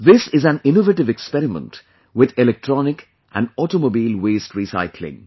This is an innovative experiment with Electronic and Automobile Waste Recycling